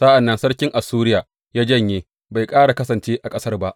Sa’an nan sarkin Assuriya ya janye, bai ƙara kasance a ƙasar ba.